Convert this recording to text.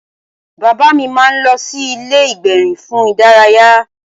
Bàbá mi máa lọ sí ilé ìgbérin fún ìdárayá